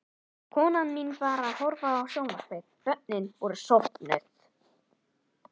Konan mín var að horfa á sjónvarpið, börnin voru sofnuð.